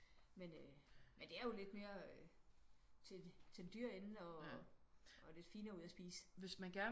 Men øh men det er jo lidt mere øh til til den dyre ende og og lidt finere ud at spise